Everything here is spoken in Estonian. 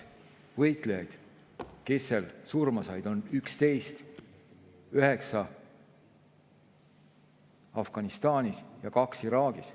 Võitlejaid, kes seal surma said, oli 11, neist 9 Afganistanis ja 2 Iraagis.